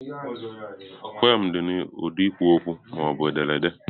Peoms dị n'ụdị ekwu okwu ma ọ bụ ederede.